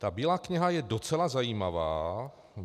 Ta Bílá kniha je docela zajímavá.